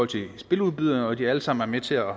til spiludbyderne og at de alle sammen er med til at